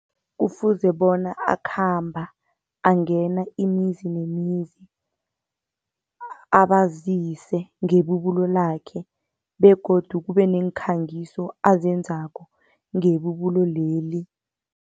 Kufuze bona akhamba angena imizi nemizi, abazise ngebubulo lakhe begodu kube neekhangiso azenzako ngebubulo leli.